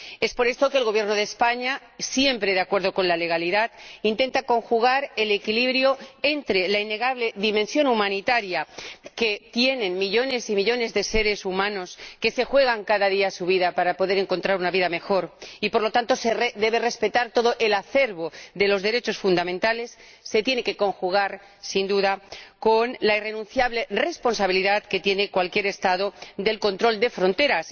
Por esto el Gobierno de España, siempre de acuerdo con la legalidad, intenta conjugar el equilibrio entre la innegable dimensión humanitaria que tiene la situación de millones y millones de seres humanos que se juegan cada día su vida para poder encontrar una vida mejor y el respeto de todo el acervo de los derechos fundamentales, que se tiene que conjugar sin duda con la irrenunciable responsabilidad que tiene cualquier Estado con respecto al control de fronteras.